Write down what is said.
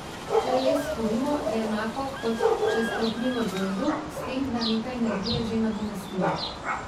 Če les skurimo, je enako, kot če strohni v gozdu, s tem da nekaj energije že nadomestimo.